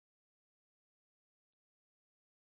தமிழாக்கம் கடலூர் திவா